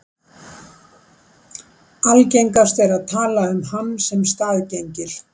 Algengast er að tala um hann sem staðgengil.